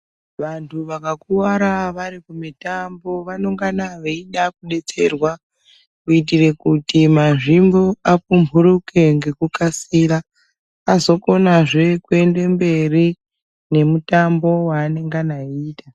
Vantu vakakuvara varikumutambo vanonga veida kubetserwa kuitire kuti mazvimbo apumhuruke ngekukasira vazokona zve kuenda mberi nemutambo waanenga eiita .